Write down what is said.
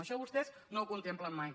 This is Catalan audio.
això vostès no ho contemplen mai